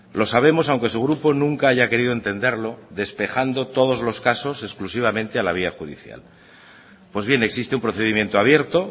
lo sabemos aunque su grupo nunca haya querido entenderlo despejando todos los casos exclusivamente a la vía judicial pues bien existe un procedimiento abierto